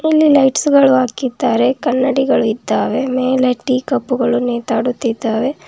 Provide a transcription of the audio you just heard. ಇಲ್ಲಿ ಲೈಟ್ಸ್ ಗಳು ಹಾಕಿದ್ದಾರೆ ಕನ್ನಡಿಗಳು ಇದ್ದಾವೆ ಮೇಲೆ ಟೀ ಕಪ್ ಗಳು ನೇತಾಡುತ್ತಿದ್ದಾವೆ.